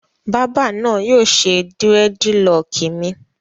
Bábà náà yóò ṣe dírẹ́dilọọkì mi.